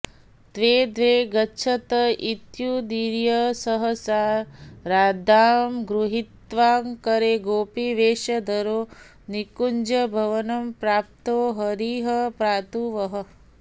द्वे द्वे गच्छत इत्युदीर्य सहसा राधां गृहीत्वा करे गोपीवेषधरो निकुञ्जभवनं प्राप्तो हरिः पातु वः